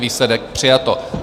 Výsledek: přijato.